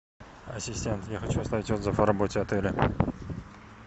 ассистент я хочу оставить отзыв о работе отеля